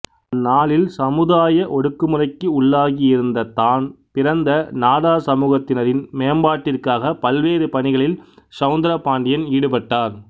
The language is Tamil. அந்நாளில் சமுதாய ஒடுக்குமுறைக்கு உள்ளாகி இருந்த தான் பிறந்த நாடார் சமூகத்தினரின் மேம்பாட்டிற்காகப் பல்வேறு பணிகளில் செளந்திரபாண்டியன் ஈடுபட்டார்